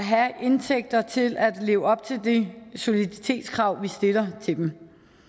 have indtægter til at leve op til de soliditetskrav vi stiller til dem